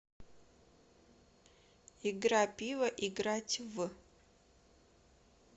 игра пиво играть в